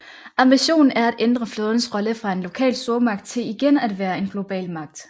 Ambitionen er at ændre flådens rolle fra en lokal stormagt til igen at være en global magt